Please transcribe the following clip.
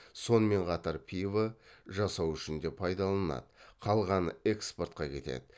сонымен қатар пива жасау үшінде пайдаланады қалғаны экспортқа кетеді